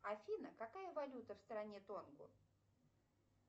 афина какая валюта в стране тонго